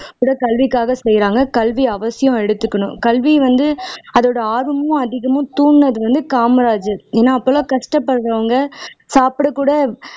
கூட கல்விக்காக செய்றாங்க. கல்வி அவசியம் எடுத்துக்கணும் கல்வி வந்து அதோட ஆர்வமும் அதிகமும் தூண்டினது வந்து காமராஜர், ஏன்னா அப்போல்லாம் கஷ்டப்படுறவங்க சாப்பிடக்கூட